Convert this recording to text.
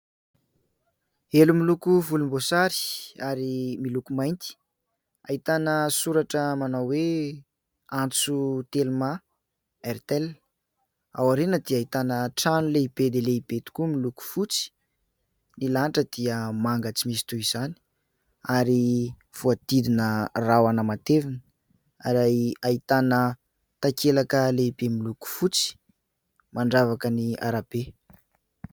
Elo miloko volombosary ary miloko mainty ahitana soratra manao hoe " Antso telma, airtel " ao aoriana dia ahitana trano lehibe dia lehibe tokoa. Miloko fotsy ny lanitra dia manga tsy misy toy izany ary voahodidina rahona matevina ary ahitana takelaka lehibe miloko fotsy mandravaka ny arabe.